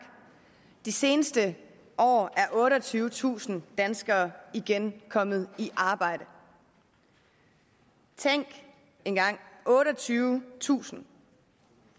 de seneste år er otteogtyvetusind danskere igen kommet i arbejde tænk engang otteogtyvetusind